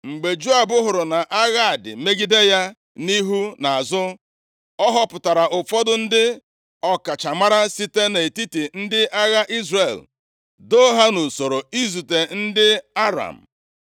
Mgbe Joab hụrụ na agha dị megide ya nʼihu na azụ, ọ họpụtara ụfọdụ ndị ọkachamara site nʼetiti ndị agha Izrel, doo ha nʼusoro izute ndị Aram.